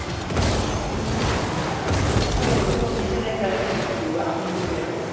আচ্ছা ওটা কিসের লেগে খেলা? আমি ও এখনো অবধি ভেবে পাই না।